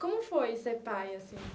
Como foi ser pai, assim?